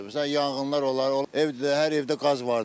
Məsələn, yanğınlar olar, ev, hər evdə qaz var da.